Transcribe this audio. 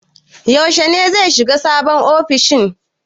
Yaushe ne zai shiga sabon ofishin?